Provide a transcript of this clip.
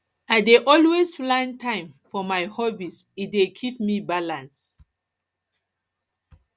i i dey always plan time for my hobbies e dey keep me balance